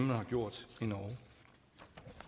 man har gjort